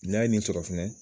N'a ye nin sɔrɔ fɛnɛ